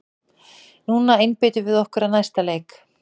Núna einbeitum við okkur að næsta leik!